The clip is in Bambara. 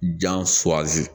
Jan suwasi